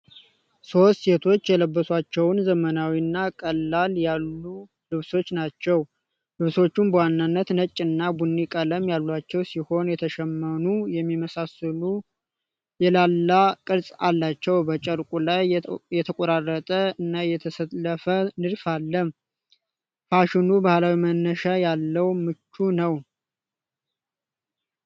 ሶስት ሴቶች የለበሷቸውን ዘመናዊ እና ቀለል ያሉ ልብሶች ናቸው። ልብሶቹ በዋናነት ነጭ እና ቡኒ ቀለሞች ያሏቸው ሲሆን የተሸመኑ የሚመስሉና የላላ ቅርጽ አላቸው። በጨርቁ ላይ የተቆራረጠ እና የተሰለፈ ንድፍ አለ። ፋሽኑ ባህላዊ መነሻ ያለውና ምቹ ነው።